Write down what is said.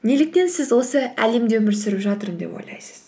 неліктен сіз осы әлемде өмір сүріп жатырмын деп ойлайсыз